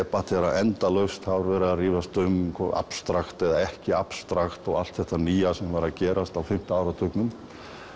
debatera endalaust það var verið að rífast um abstrakt eða ekki abstrakt og allt þetta nýja sem var að gerast á fimmta áratugnum